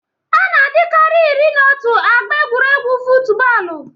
Ana adịkari iri n'otu agba egwuregwu futubọọlụ.